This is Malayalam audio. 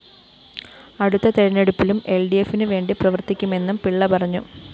അടുത്ത തെരഞ്ഞെടുപ്പിലും എല്‍ഡിഎഫിനു വേണ്ടി പ്രവര്‍ത്തിക്കുമെന്നും പിള്ള പറഞ്ഞു